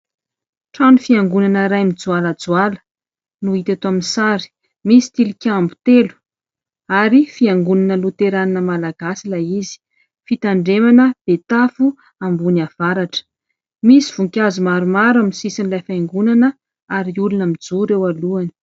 Trano fiangonana iray mijoalajoala no hita eto amin'ny sary, misy tilikambo telo ary Fiangonana Loterana Malagasy ilay izy, Fitandremana Betafo Ambony Avaratra. Misy voninkazo maromaro amin'ny sisin'ilay fiangonana ary olona mijoro eo alohany.